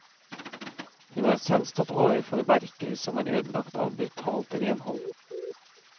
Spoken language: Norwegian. Hun har selv stått overfor verker som er ødelagt av brutalt renhold.